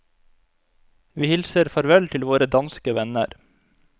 Vi hilser farvel til våre danske venner.